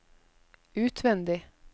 utvendig